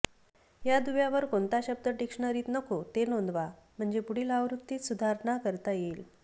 या दुव्यावर कोणता शब्द डिक्शनरीत नको ते नोंदवा म्हणजे पुढील आवृत्तीत सुधारणा करता येईल